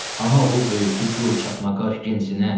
Ana oğul böyütdü gur çatma qaş gənc sinə.